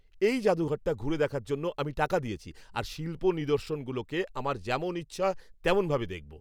এই জাদুঘরটা ঘুরে দেখার জন্য আমি টাকা দিয়েছি, আর শিল্প নিদর্শনগুলোকে আমার যেমন ইচ্ছা তেমন ভাবে দেখব।